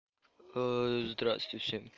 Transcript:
здравствуйте всем